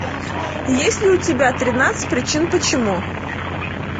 есть ли у тебя тринадцать причин почему